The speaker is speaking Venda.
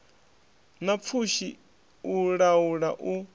na pfushi u laula u